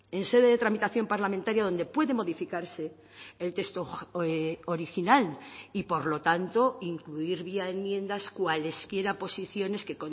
en sede de tramitación parlamentaria donde puede modificarse el texto original y por lo tanto incluir vía enmiendas cuales quiera posiciones que